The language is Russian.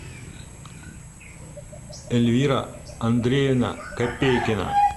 эльвира андреевна копейкина